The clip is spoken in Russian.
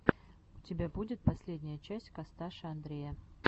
у тебя будет последняя часть косташа андрея